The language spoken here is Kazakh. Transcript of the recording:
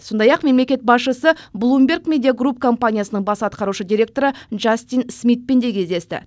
сондай ақ мемлекет басшысы блумберг медиа груп компаниясының бас атқарушы директоры джастин смитпен де кездесті